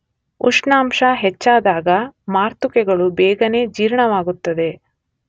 ಉಷ್ಣಾಂಶ ಹೆಚ್ಚಾದಾಗ ಮಾತೃಕೆಗಳು ಬೇಗನೇ ಜೀರ್ಣವಾಗುತ್ತದೆ